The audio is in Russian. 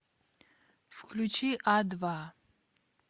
включи а два